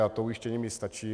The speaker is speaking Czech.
A to ujištění mi stačí.